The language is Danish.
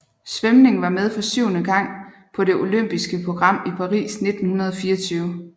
Svømning var med for syvende gang på det olympiske program i Paris 1924